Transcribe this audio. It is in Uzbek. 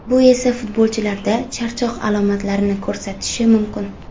Bu esa futbolchilarda charchoq alomatlarini ko‘rsatishi mumkin.